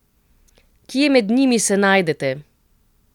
Kje med njimi se najdete?